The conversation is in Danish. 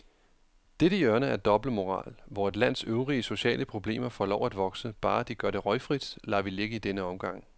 Dette hjørne af dobbeltmoral, hvor et lands øvrige sociale problemer får lov at vokse, bare de gør det røgfrit, lader vi ligge i denne omgang.